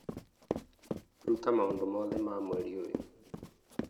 rũta maũndũ mothe ma mweri ũyũ